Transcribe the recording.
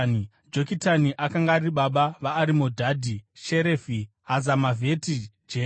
Jokitani akanga ari baba veava vanoti: Arimodhadhi, Sherefi, Hazamavheti, Jera,